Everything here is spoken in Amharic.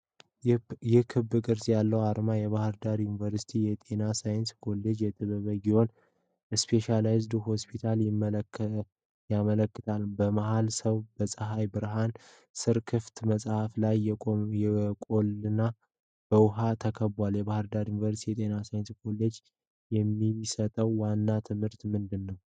ይህ ክብ ቅርጽ ያለው አርማ የባሕር ዳር ዩኒቨርሲቲ የጤና ሳይንስ ኮሌጅ እና ጥበበ ጊዮን ስፔሻላይዝድ ሆስፒታልን ያመለክታል። በመሃል፣ ሰው በፀሐይ ብርሃን ስር ክፍት መጽሐፍ ላይ ቆሟልና በውሃ ተከቧል። የባሕር ዳር ዩኒቨርሲቲ የጤናሳይንስ ኮሌጅ የሚሰጠው ዋና ትምህርት ምንድን ነው?